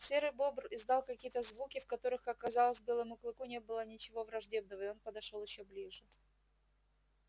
серый бобр издал какие то звуки в которых как показалось белому клыку не было ничего враждебного и он подошёл ещё ближе